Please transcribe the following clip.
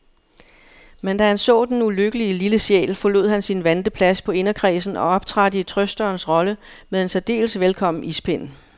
Men da han så den ulykkelige lille sjæl, forlod han sin vante plads på inderkredsen og optrådte i trøsterens rolle med en særdeles velkommen ispind.